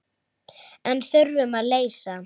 En þurfum að leysa.